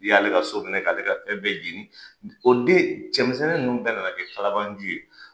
U y'ale ka so minɛ k'ale ka fɛn bɛɛ jɛnin. O den cɛmisɛnnin ninnu bɛɛ nana kɛ kalabanji ye.